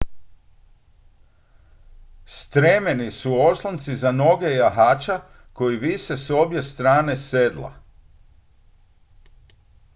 stremeni su oslonci za noge jahača koji vise s obje strane sedla